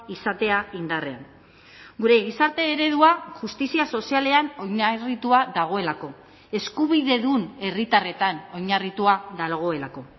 izatea indarrean gure gizarte eredua justizia sozialean oinarritua dagoelako eskubidedun herritarretan oinarritua dagoelako